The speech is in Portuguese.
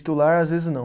Titular, às vezes não.